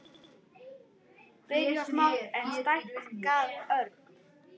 Byrjað smátt, en stækkað ört.